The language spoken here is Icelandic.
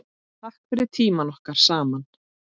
Takk fyrir tímann okkar saman.